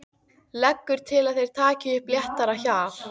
Leggur til að þeir taki upp léttara hjal.